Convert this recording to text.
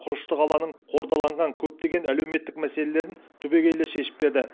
құрышты қаланың қордаланған көптеген әлеуметтік мәселелерін түбегейлі шешіп берді